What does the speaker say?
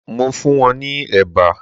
Mo funwon ni eba